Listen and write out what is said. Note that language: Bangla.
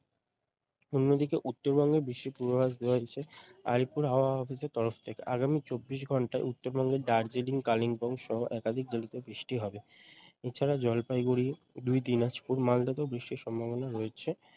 অন্যদিকে উত্তরবঙ্গে বৃষ্টির পূর্বাভাস দেওয়া হয়েছে আলিপুর হাওয়া office এর তরফ থেকে আগামী চব্বিশ ঘন্টায় উত্তরবঙ্গের দার্জিলিং কালিম্পং সহ একাধিক জেলাতে বৃষ্টি হবে এছাড়া জলপাইগুড়ি দুই দিনাজপুর মালদাতেও বৃষ্টির সম্ভাবনা রয়েছে